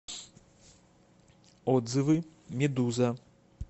отзывы медуза